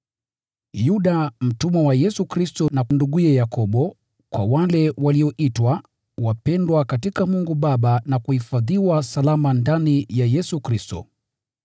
Yuda, mtumwa wa Yesu Kristo na nduguye Yakobo: Kwa wale walioitwa, wapendwa katika Mungu Baba na kuhifadhiwa salama ndani ya Yesu Kristo: